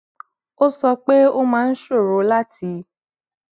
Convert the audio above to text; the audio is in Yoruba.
ó sọ pé ó máa ń ṣòro láti